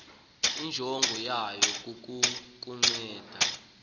injongo yayo kukukuncedisa